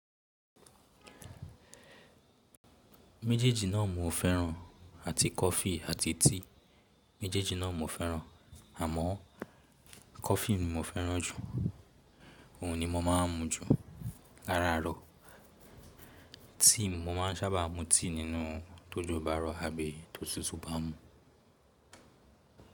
Méjèèjì náà mo fẹ́ràn àti coffee àti tea. Méjèèjì náà mo fẹ́ràn, àmọ́ coffee ni mo fẹ́ràn jù, òhun ni mo máa ń mu jù láraaro. Tea mo máa ń sábà mu tea nínú tójo ba rọ àbí tó súsu bá mu.